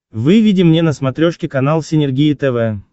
выведи мне на смотрешке канал синергия тв